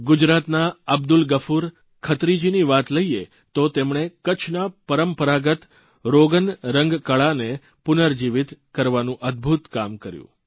ગુજરાતના અબ્દુલ ગફુર ખત્રીજીની વાત લઇએ તો તેમણે કચ્છના પરંપરાગત રોગન રંગકળાને પુનર્જીવીત કરવાનું અદભૂત કામ કર્યું